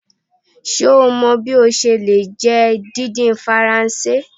Ṣe o mọ bi o ṣe le jẹ didin Faranse?